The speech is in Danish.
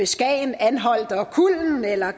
skagen anholt og kullen eller